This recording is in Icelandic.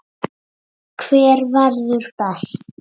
Hver verður best?